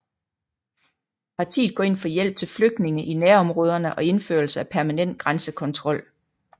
Paritet går ind for hjælp til flygtninge i nærområderne og indførelse af permanent grænsekontrol